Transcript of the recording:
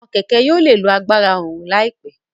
Awọn kẹkẹ yóò lè lo àgbàrá oòrùn laipẹ